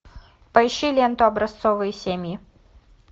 поищи ленту образцовые семьи